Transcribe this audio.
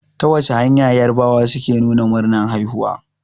Ta wace hanya yarabawa suke nuna murnar haihuwa?